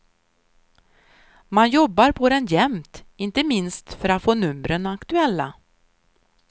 Man jobbar på den jämt, inte minst för att få numren aktuella.